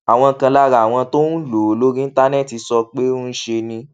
àwọn kan lára àwọn tó ń lò ó lórí íńtánéètì sọ pé ńṣe ni